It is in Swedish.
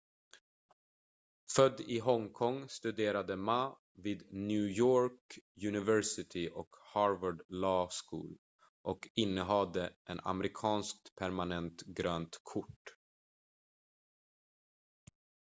"född i hongkong studerade ma vid new york university och harvard law school och innehade en amerikanskt permanent "grönt kort"".